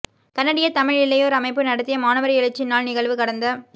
கனடிய தமிழ் இளையோர் அமைப்பு நடத்திய மாணவர் எழுச்சி நாள் நிகழ்வு கடந்த